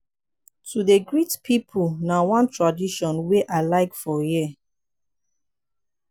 to dey greet pipu na one tradition wey i like for here.